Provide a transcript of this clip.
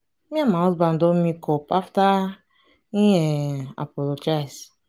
me and my husband don make up after he um apologize